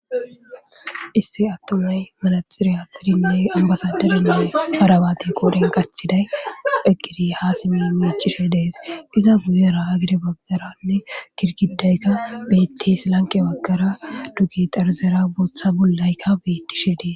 issi attonnay manaxire atxidinne ambasadedinne barabate qoodhin gachiday egidi ha simila miracishe dees iza guyera agide baggaranne kirkidaykka beetti s lanqe baggara duge xarzera bootha bullaykka bettishe dees